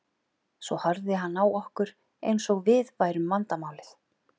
Svo horfði hann á okkur eins og við værum vandamálið.